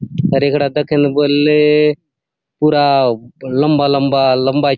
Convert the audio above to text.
आउर ए कठा देखदे बले पूरा लम्बा - लम्बा लम्बा सी आसे।